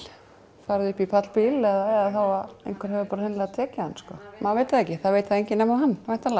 farið upp í pallbíl eða þá að einhver hefur bara hreinlega tekið hann maður veit það ekki það veit það enginn nema hann væntanlega